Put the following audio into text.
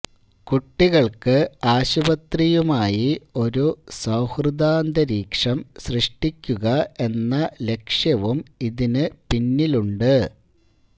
കുട്ടികള്ക്ക് ആശുപത്രിയുമായി ഒരു സൌഹൃദാന്തരീക്ഷം സൃഷ്ടിക്കുക എന്ന ലക്ഷ്യവും ഇതിനു പിന്നിലുണ്ട്